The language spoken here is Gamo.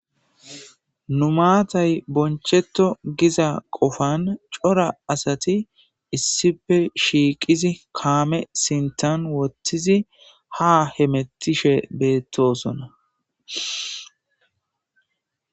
numaatay boncheto giza qofan cora asati issife shiiqizi kaame sintan wottizi ha hemettishe beettosona